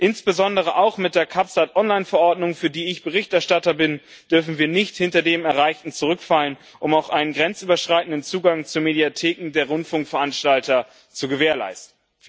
Insbesondere auch mit der CabSat Verordnung, für die ich Berichterstatter bin, dürfen wir nicht hinter das Erreichte zurückfallen, um auch einen grenzüberschreitenden Zugang zu Mediatheken der Rundfunkveranstalter zu gewährleisten.